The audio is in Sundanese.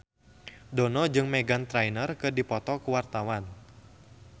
Dono jeung Meghan Trainor keur dipoto ku wartawan